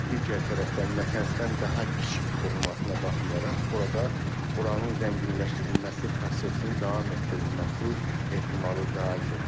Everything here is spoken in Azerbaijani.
Və digər tərəfdən Natanzdan daha kiçik olmasına baxmayaraq, burada uranın zənginləşdirilməsi prosesinin davam etdirilməsi ehtimalı da çoxdur.